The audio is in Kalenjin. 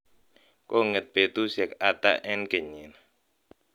kong'et betusiek ata en kenyit nii